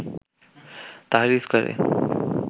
Tahrir স্কয়ারে